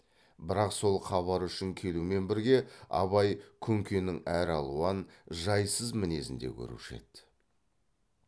бірақ сол хабар үшін келумен бірге абай күнкенің әралуан жайсыз мінезін де көруші еді